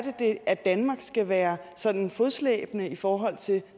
at danmark skal være sådan fodslæbende i forhold til